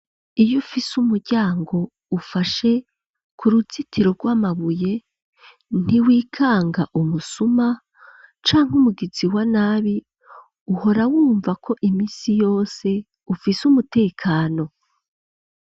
Iyo ufise umuryango, ufashe ku ruzitiro, rw'amabuye, ntiwikanga umusuma, canke umugizi wa nabi; uhora wumva ko, iminsi yose, ufise umutekano.